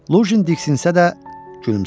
Lujin diksinsə də gülümsədi.